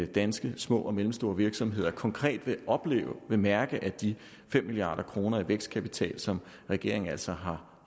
danske små og mellemstore virksomheder konkret vil opleve og mærke at de fem milliard kroner i vækstkapital som regeringen altså har